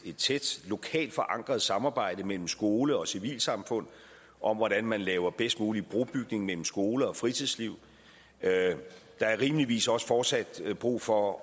tæt lokalt forankret samarbejde mellem skole og civilsamfund om hvordan man laver bedst mulig brobygning mellem skole og fritidsliv der er rimeligvis også fortsat brug for at